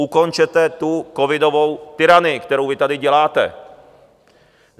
Ukončete tu covidovou tyranii, kterou vy tady děláte.